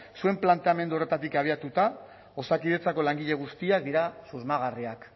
zuen planteamendu horretatik abiatuta osakidetzako langile guztiak dira susmagarriak